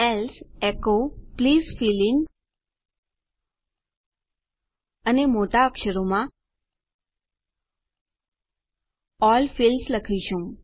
else echo please fill in અને મોટા અક્ષરોમાં અલ્લ ફિલ્ડ્સ લખીશું